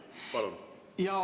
Palun!